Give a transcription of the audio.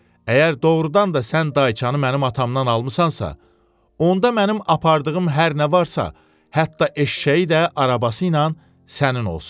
Əgər doğrudan da sən dayçanı mənim atamdan almısansa, onda mənim apardığım hər nə varsa, hətta eşşəyi də arabası ilə sənin olsun.